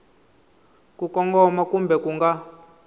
ku kongoma kumbe ku nga